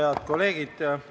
Head kolleegid!